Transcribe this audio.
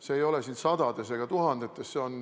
See ei ole sadades ega tuhandetes.